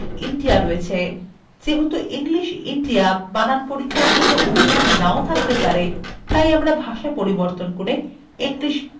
যেহেতু english india বানান পরীক্ষার জন্য অবিধান নাও থাকতে পারে তাই আমরা ভাষা পরিবর্তন করে english usa করব